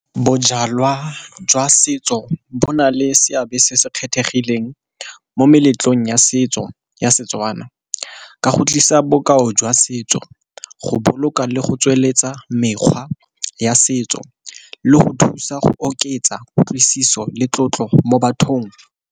Bojalwa jwa setso bo na le seabe se se kgethegileng mo meletlong ya setso ya Setswana, ka go tlisa bokao jwa setso go boloka le go tsweletsa mekgwa ya setso le go thusa go oketsa kutlwisiso le tlotlo mo bathong.